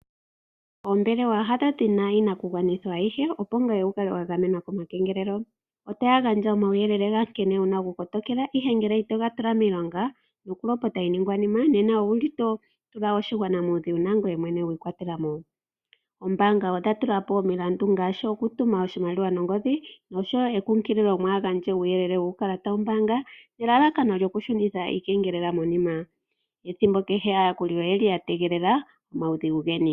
Oombelewa hadho dhi na iinakugwanithwa ayihe, opo wu kale wa gamenwa komakengelelo. Otaya gandja omauyelele nkene wu na okukala wa kotokela omakengelelo, ihe ngele ito ga tula miilonga yokulopota iiningwanima nena oto tula oshigwana muudhigu nangoye mwene wi ikwatela mo. Oombaanga odha tula po omilandu ngaashi okutuma oshimaliwa nongodhi nosho wo ekunkililo mwaa gandje uuyelele wuukalata wombaanga nelalakano lyokushunitha iikengelela monima. Ethimbo kehe aayakuli oya tegelela omaudhigu geni.